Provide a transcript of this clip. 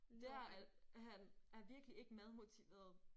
Det er at han er virkelig ikke madmotiveret